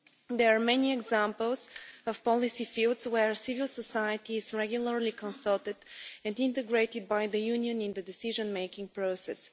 There are many examples of policy fields where civil society is regularly consulted and integrated by the Union in the decision-making process.